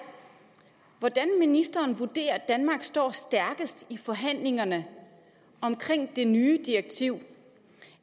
hvordan ministeren vurderer at danmark står stærkest i forhandlingerne om det nye direktiv